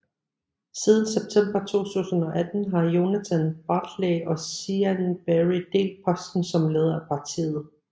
Siden september 2018 har Jonathan Bartley og Siân Berry delt posten som leder af partiet